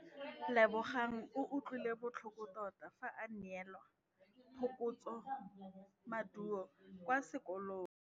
Lebogang o utlwile botlhoko tota fa a neelwa phokotsômaduô kwa sekolong.